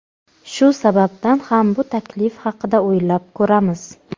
Shu sababdan ham bu taklif haqida o‘ylab ko‘ramiz.